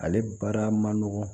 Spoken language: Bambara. Ale baara ma nɔgɔn